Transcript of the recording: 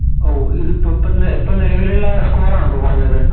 ഓ ഇതിപ്പോ പൊ ഇപ്പ നിലവിലുള്ള score ആണോ പറഞ്ഞത്